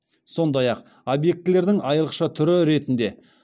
сондай ақ объектілердің айрықша түрі ретінде